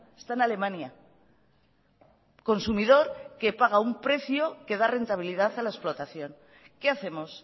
está en alemania consumidor que paga un precio que da rentabilidad a la explotación qué hacemos